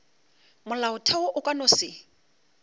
molaotheo o ka no se